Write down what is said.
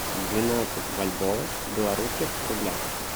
двенадцать бальбоа в белорусских рублях